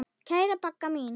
Kæra Bagga mín.